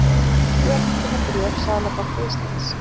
Hér má finna bréf Seðlabanka Íslands